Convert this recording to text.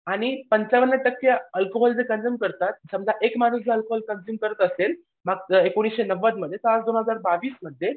आणि पंचावन्न टक्के अल्कोहोल जे कंझ्युम करतात समजा एक माणूस जर कंझुम करत असेल एकोणीसशे नव्वदमध्ये तर दोन हजार बावीसमध्ये